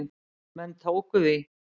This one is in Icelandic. Menn tóku því.